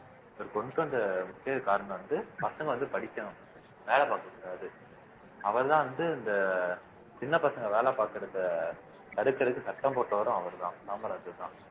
அவர் கொண்டுட்டு வந்த முக்கிய காரணம் வந்து பசங்க வந்து படிக்கணும் வேலை பார்க்கக் கூடாது அவர்தான் வந்து இந்த சின்ன பசங்க வேலை பார்க்கிறதை தடுக்குறதுக்கு சட்டம் போட்டவரும் அவர்தான் காமராஜர்தான்